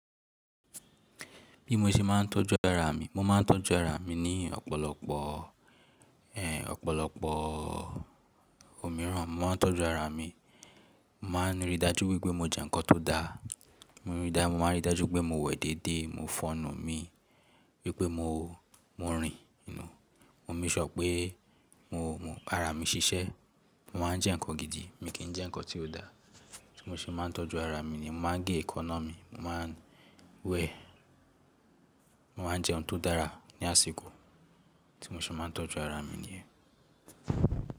Bí mo ṣe máa ń tọ́jú ara mi, mo máa ń tọ́jú ara mi ní ọ̀pọ̀lọpọ̀, ẹ́, ọ̀pọ̀lọpọ̀ òmíràn. Mo máa ń tọ́jú ara mi, mo máa ń rí dájú wípé mo jẹ nǹkan tó da. Mo rí i dájú, mo máa ń ríi dájú wípé mo wẹ̀ déédé, mo fọ̀ enu mi wípé mo, mo rìn, mo sure pé mo, ara mi ṣiṣẹ́. Mo máa ń jẹ nǹkan gidi, mi kì í jẹ nǹkan tí ò da. Tí mo ṣe máa ń tọ́jú ara ni yen mo máa ń gé ẹ́ekanna mi, mo máa ń wẹ̀, mo máa ń jẹun tó dára ní àsìkò. Ti mo ṣe máa ń tọ́jú ara mi ni yen.